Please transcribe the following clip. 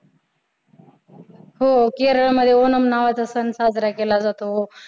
हो. केरळमध्ये ओणम नावाचा सण साजरा केला जातो.